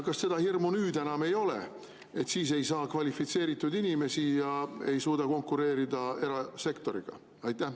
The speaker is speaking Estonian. Kas seda hirmu enam ei ole, et me ei saa tööle kvalifitseeritud inimesi ja ei suuda konkureerida erasektoriga?